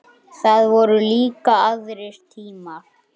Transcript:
Það voru líka aðrir tímar.